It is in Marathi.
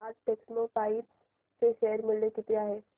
आज टेक्स्मोपाइप्स चे शेअर मूल्य किती आहे